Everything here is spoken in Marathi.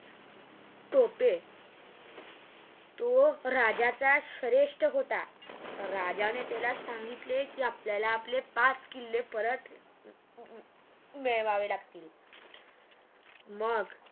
टोपे तो राज्याच्या श्रेष्ठ होता राज्याने त्याला सांगितले की आपल्याला आपले पाच किल्ले परत मिळवावे लागतील मग